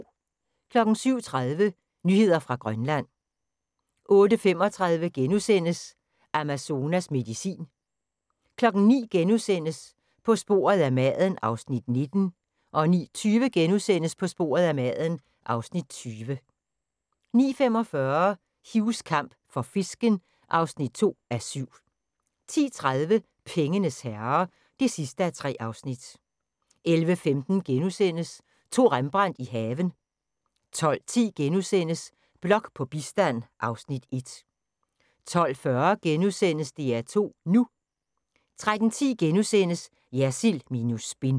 07:30: Nyheder fra Grønland 08:35: Amazonas medicin * 09:00: På sporet af maden (Afs. 19)* 09:20: På sporet af maden (Afs. 20)* 09:45: Hughs kamp for fisken (2:7) 10:30: Pengenes herrer (3:3) 11:15: To Rembrandt i haven * 12:10: Blok på bistand (Afs. 1)* 12:40: DR2 NU * 13:10: Jersild minus spin *